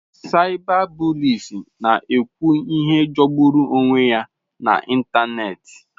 Cyberbullies na-ekwu ihe jọgburu onwe ya n'ịntanetị.